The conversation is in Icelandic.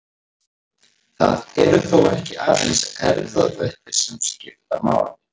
Það eru þó ekki aðeins erfðaþættir sem skipta máli.